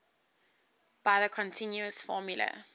by the continuous formula